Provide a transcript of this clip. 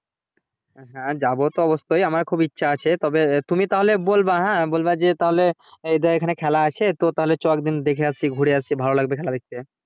হ্যাঁ যাবো তো অবশ্যই আমার খুব ইচ্ছে আছে তবে তুমি তাহেল বলবা হ্যাঁ বলবা এখানে খেলা আছে চ একদিন দেখে আসি ঘুরে আসি ভালো লাগবে খেলা দেখতে